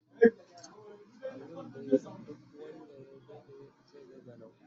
Abun dai duk wand Aya Dade zai ga ganao